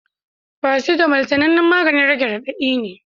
Paracetamol sanannen maganin rage radadi ne